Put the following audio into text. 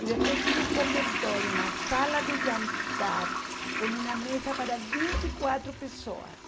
E depois tinha um comedoro, uma sala de jantar com uma mesa para vinte e quatro pessoas.